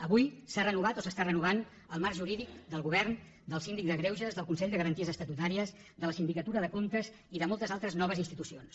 avui s’ha renovat o s’està renovant el marc jurídic del govern del síndic de greuges del consell de garanties estatutàries de la sindicatura de comptes i de moltes altres noves institucions